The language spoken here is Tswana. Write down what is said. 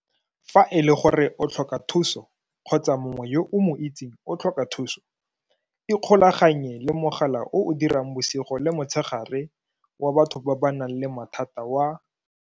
Fa e le gore o tlhoka thuso kgotsa mongwe yo o mo itseng o tlhoka thuso, ikgolaganye le mogala o o dirang bosigo le motshegare wa batho ba ba nang le mathata wa.